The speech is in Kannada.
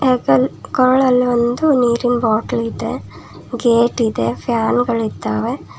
ಕಾಳ್ ಅಲ್ ಒಂದು ನೀರಿನ್ ಬಾಟಲ್ ಇದೆ ಗೇಟ್ ಇದೆ ಫ್ಯಾನ್ ಗಳಿದ್ದಾವೆ.